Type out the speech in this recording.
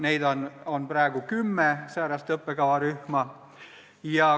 Neid on praegu kümme.